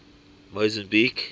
mozambique